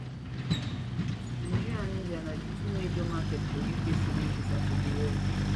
nigeria and india na di two major markets for uk student visa for di world